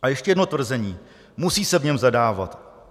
A ještě jedno tvrzení: Musí se v něm zadávat.